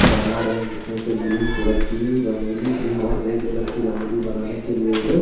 बना रहै हैं जिसमें से ग्रीन कलर की रंगोली ग्रीन और रेड कलर की रंगोली बनाने के लिए ये लोग --